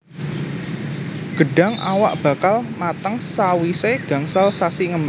Gedhang awak bakal mateng sawisé gangsal sasi ngembang